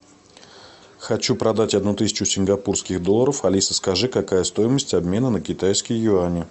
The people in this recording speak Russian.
хочу продать одну тысячу сингапурских долларов алиса скажи какая стоимость обмена на китайские юани